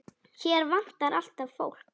Hér vantar alltaf fólk.